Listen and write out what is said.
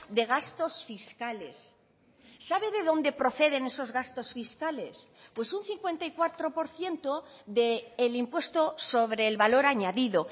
de gastos fiscales sabe de dónde proceden esos gastos fiscales pues un cincuenta y cuatro por ciento del impuesto sobre el valor añadido